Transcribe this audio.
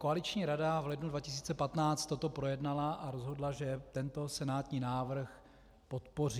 Koaliční rada v lednu 2015 toto projednala a rozhodla, že tento senátní návrh podpoří.